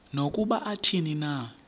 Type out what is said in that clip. nokuba athini na